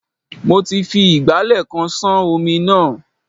Mo ti fi ìgbálẹ̀ kan ṣán omi náà.